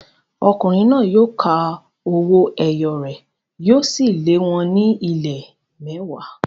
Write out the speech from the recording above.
Ọkùnrin náà yóò ka owó ẹyọ rẹ̀, yóò sì lé wọn ní ìlé mẹ́wàá.